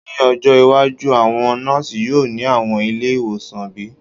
Ni ojo iwaju, awọn nọọsi yoo ni awọn ile-iwosan bi?